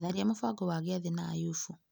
Tharia mũbango wa gĩathĩ na Ayubu.